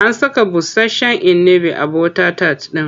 An saka busasshen inibi a bota-tat ɗin?